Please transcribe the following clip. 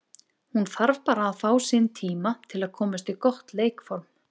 Hún þarf bara að fá sinn tíma til að komast í gott leikform.